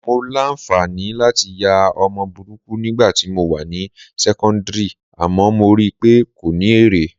Mo láǹfààní láti ya ọmọ burúkú nígbà tí mo wà ní sẹ́kọ́ńdìrì àmọ́ mo rí i pé kò ní èrè